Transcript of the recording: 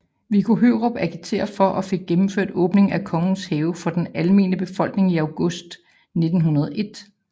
Viggo Hørup agiterede for og fik gennemført åbningen af Kongens Have for den almene befolkning i august 1901